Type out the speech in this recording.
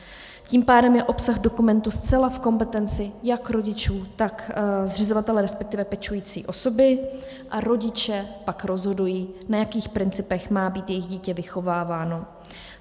Tím pádem je obsah dokumentu zcela v kompetenci jak rodičů, tak zřizovatele, respektive pečující osoby, a rodiče pak rozhodují, na jakých principech má být jejich dítě vychováváno.